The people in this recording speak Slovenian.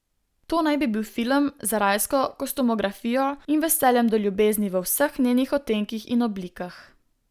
To naj bi bil film z rajsko kostumografijo in veseljem do ljubezni v vseh njenih odtenkih in oblikah.